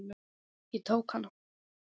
Ég tók hana.